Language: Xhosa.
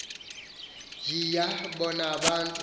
niya bona bantu